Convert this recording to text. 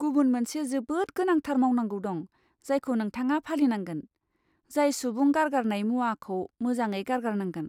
गुबुन मोनसे जोबोद गोनांथार मावनांगौ दं जायखौ नोंथाङा फालिनांगोन, जाय सुबुं गारगारनाय मुवाखौ मोजाङै गारगारनांगोन।